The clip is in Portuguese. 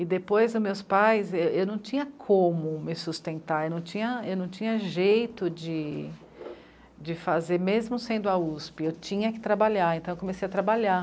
E depois, meus pais... eu não tinha como me sustentar, eu não tinha jeito de fazer, mesmo sendo a u esse pê, eu tinha que trabalhar, então eu comecei a trabalhar.